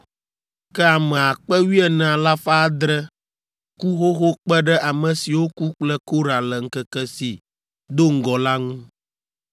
ke ame akpe wuiene alafa adre (14,700) ku xoxo kpe ɖe ame siwo ku kple Korah le ŋkeke si do ŋgɔ la ŋu.